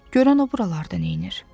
Görən o buralarda neyləyir?